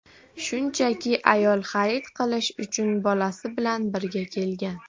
Shunchaki ayol xarid qilish uchun bolasi bilan birga kelgan.